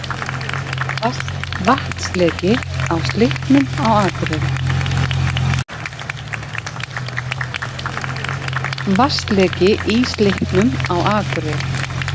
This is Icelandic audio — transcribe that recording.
Vatnsleki í Slippnum á Akureyri